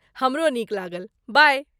हमरो नीक लागल। बाइ!